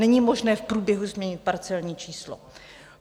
Není možné v průběhu změnit parcelní číslo.